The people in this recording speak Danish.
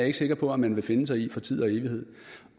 ikke sikker på at man vil finde sig i for tid og evighed